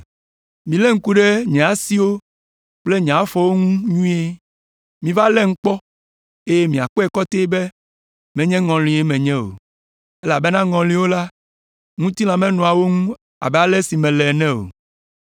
Milé ŋku ɖe nye asiwo kple afɔwo ŋu nyuie! Miva lém kpɔ, eye miakpɔe kɔtɛe be menye ŋɔlie menye o! Elabena ŋɔliwo la, ŋutilã menɔa wo ŋu abe ale si mele ene o.”